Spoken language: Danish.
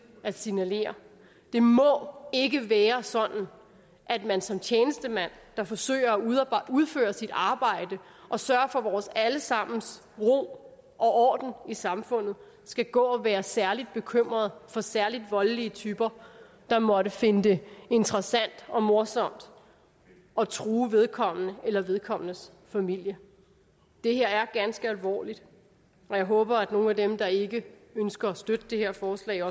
at signalere det må ikke være sådan at man som tjenestemand der forsøger at udføre sit arbejde og sørge for vores alle sammens ro og orden i samfundet skal gå og være særlig bekymret for særlig voldelige typer der måtte finde det interessant og morsomt at true vedkommende eller vedkommendes familie det her er ganske alvorligt og jeg håber at nogle af dem der ikke ønsker at støtte det her forslag